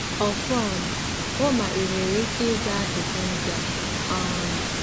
Ọfọn, hụ ma ị nwere ike ịza ajụjụ ndị a: um